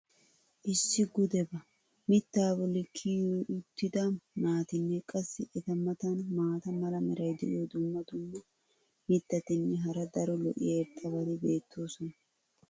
laa gudebba! mitaa boli kiyio uttida naatinne qassi eta matan maata mala meray diyo dumma dumma mitatinne hara daro lo'iya irxxabati beetoosona.